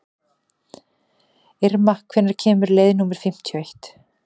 Irma, hvenær kemur leið númer fimmtíu og eitt?